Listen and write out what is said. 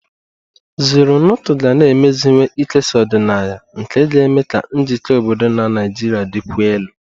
Zornoto ga na-emeziwanye ikesa ọdịnaya nke ga-eme ka njikọ obodo na Nigeria dịkwuo elu.